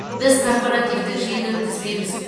біз корпоративтік жиын өткізбейміз